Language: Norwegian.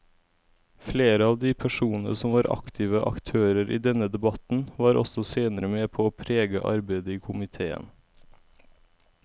Flere av de personene som var aktive aktører i denne debatten var også senere med på å prege arbeidet i komiteen.